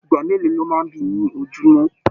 Ìgbà mélòó lọ máa n bí ní ojumọ?